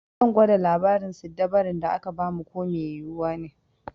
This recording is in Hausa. Zan gwada labarin siddabarun da aka ba mu ko mai yiwuwa ne.